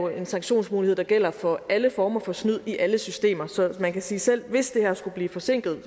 en sanktionsmulighed der gælder for alle former for snyd i alle systemer så man kan sige at selv hvis det her skulle blive forsinket